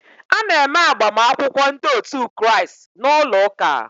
A na-eme agbamakwụkwọ ndị otu Kraịst n'ụlọ ụka.